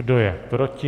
Kdo je proti?